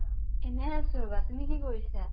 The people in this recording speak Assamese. এনে আছো ৰবা তুমি কি কৰিছা?